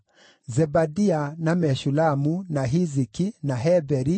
Zebadia, na Meshulamu, na Hiziki, na Heberi,